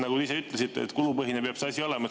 Nagu te ise ütlesite, kulupõhine peab see asi olema.